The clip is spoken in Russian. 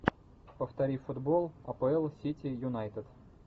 повтори футбол апл сити юнайтед